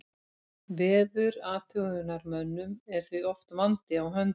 Veðurathugunarmönnum er því oft vandi á höndum.